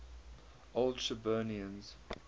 old shirburnians